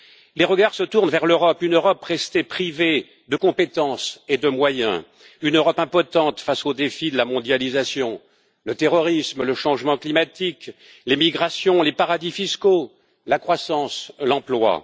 Les regards se tournent vers l'Europe, une Europe restée privée de compétences et de moyens, une Europe impotente face aux défis de la mondialisation, du terrorisme, du changement climatique, des migrations, des paradis fiscaux, de la croissance et de l'emploi.